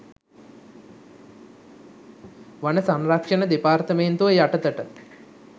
වන සංරක්ෂණ දෙපාර්තමේන්තුව යටතට